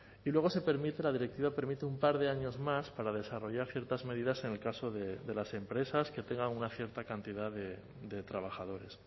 y luego se permite la directiva permite un par de años más para desarrollar ciertas medidas en el caso de las empresas que tengan una cierta cantidad de trabajadores